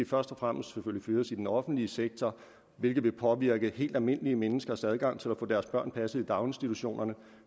først og fremmest fyres i den offentlige sektor hvilket vil påvirke helt almindelige menneskers adgang til at få deres børn passet i daginstitutionerne